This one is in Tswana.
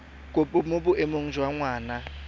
kopo mo boemong jwa ngwana